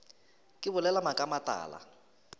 ke bolela maaka a matala